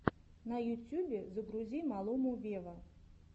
на ютьюбе загрузи малуму вево